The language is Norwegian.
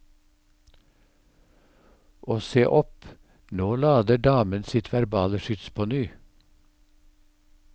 Og se opp, nå lader damen sitt verbale skyts på ny.